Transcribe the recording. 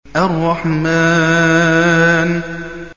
الرَّحْمَٰنُ